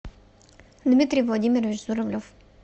дмитрий владимирович журавлев